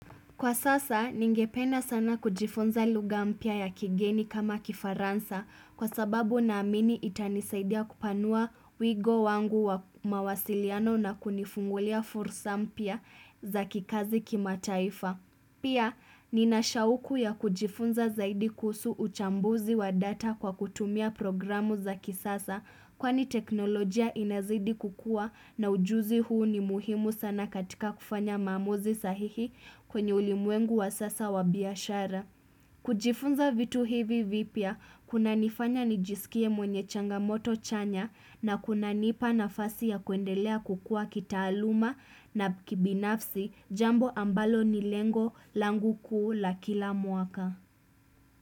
Kwa sasa, ningependa sana kujifunza lugha mpya ya kigeni kama kifaransa kwa sababu naamini itanisaidia kupanua wigo wangu wa mawasiliano na kunifungulia fursa mpya za kikazi kimataifa. Pia, ninashauku ya kujifunza zaidi kuhusu uchambuzi wa data kwa kutumia programu za kisasa kwani teknolojia inazidi kukua na ujuzi huu ni muhimu sana katika kufanya maamuzi sahihi kwenye ulimwengu wa sasa wa biashara. Kujifunza vitu hivi vipya kuna nifanya nijisikie mwenye changamoto chanya na kuna nipa nafasi ya kuendelea kukua kitaaluma na kibinafsi jambo ambalo ni lengo langu kuu la kila mwaka.